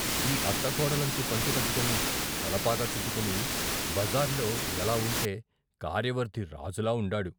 ఈ అత్త కోడలంచు పంచె కట్టుకుని, తలపాగా చుట్టుకుని బజార్లో ఎలా వుంటే కార్యవర్ధి రాజులా ఉండాడు.